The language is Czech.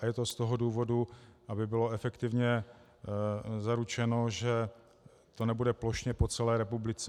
A je to z toho důvodu, aby bylo efektivně zaručeno, že to nebude plošně po celé republice.